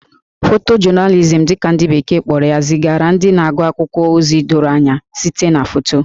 Photojournalism' dị ka beke kpọrọ ya zigara ndị na-agụ akwụkwọ ozi doro anya site na foto